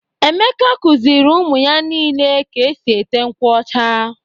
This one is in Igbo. Emeka kụziiri ụmụ ya niile ka e si ete nkwụ ọcha.